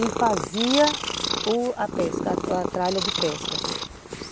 E fazia u a pesca, a tralha de pesca.